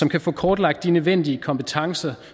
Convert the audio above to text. kan få kortlagt de nødvendige kompetencer